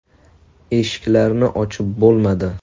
Eshiklarni ochib bo‘lmadi.